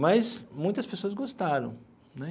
Mas muitas pessoas gostaram né.